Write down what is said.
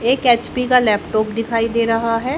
एक एच_पी का लैपटॉप दिखाई दे रहा है।